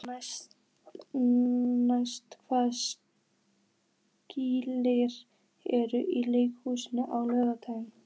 Natasja, hvaða sýningar eru í leikhúsinu á laugardaginn?